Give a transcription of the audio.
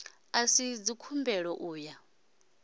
a si dzikhumbelo u ya